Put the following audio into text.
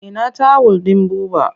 Ina tawul ɗin Buba?